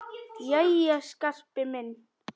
Jæja, Skarpi minn.